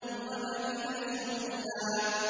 وَبَنِينَ شُهُودًا